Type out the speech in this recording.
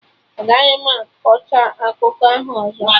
Agaghị m akọcha akụkọ ahụ ọzọ!